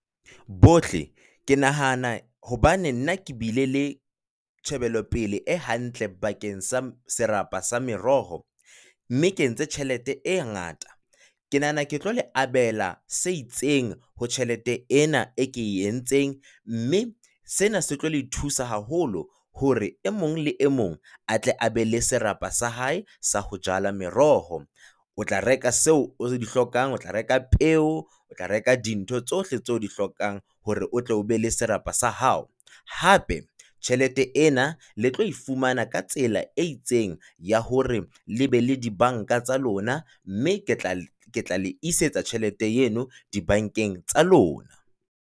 Bohle ke nahana hobane nna ke bile le tjhebelopele e hantle bakeng sa serapa sa meroho mme ke entse tjhelete e ngata, ke nahana ke tlo le abela se itseng ho tjhelete ena e ke entseng mme sena se tlo le thusa haholo hore e mong le e mong a tle abe le serapa sa hae sa ho jala meroho. O tla reka tseo o di hlokang, o tla reka peo, o tla reka dintho tsohle tseo o di hlokang hore o tlo be le serapa sa hao. Hape tjhelete ena le tlo e fumana ka tsela e itseng ya hore le be le di banka tsa lona mme ke tla le isetsa tjhelete eno dibankeng tsa lona.